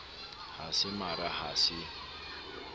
ha se mara ha se